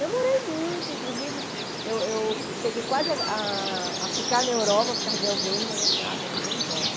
Namorei muito, inclusive, eu eu cheguei quase a a ficar na Europa por causa de alguém, mas assim, ah não, eu vou e volto.